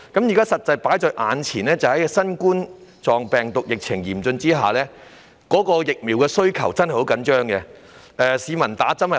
現時新冠狀病毒疫情嚴峻，流感疫苗的供應真的十分緊絀，市民難以接種。